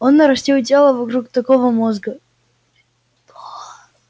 он нарастил тело вокруг такого мозга